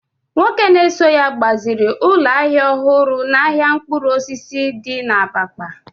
nwoke na-eso ya gbaziri ụlọ ahịa ọhụrụ n’ahịa mkpụrụ osisi di na Abakpa